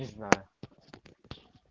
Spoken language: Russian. не знаю